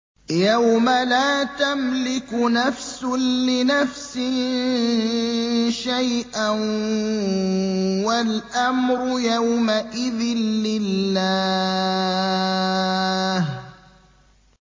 يَوْمَ لَا تَمْلِكُ نَفْسٌ لِّنَفْسٍ شَيْئًا ۖ وَالْأَمْرُ يَوْمَئِذٍ لِّلَّهِ